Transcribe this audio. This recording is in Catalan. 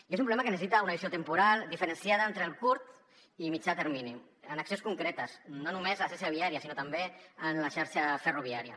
i és un problema que necessita una visió temporal diferenciada entre el curt i mitjà termini amb accions concretes no només a la xarxa viària sinó també a la xarxa ferroviària